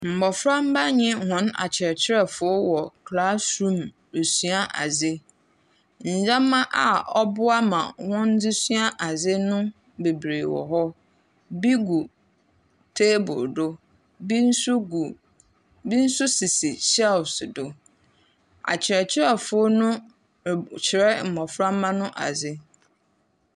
Mboframba nye hɔn akyerɛkyerɛfo wɔ classroom rusua adze. Ndzɛmba a ɔboa ma wɔdze sua adze no beberee wɔ hɔ. Bi gu table do. Bi so gu bi so sisi shelves do. Akyerɛkyerɛfo no rekyerɛ mboframba no adze.